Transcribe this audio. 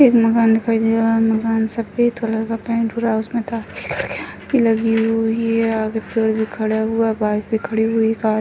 एक मकान दिखाई दे रहा है | मकान सफ़ेद कलर का पेंट हो रहा उसमे हुई है | आगे पेड़ भी खड़ा हुआ है बाइक भी खड़ी है कार --